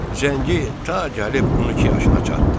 Zəngi ta gəlib 12 yaşına çatdı.